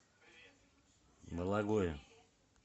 бологое